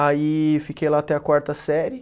Aí fiquei lá até a quarta série.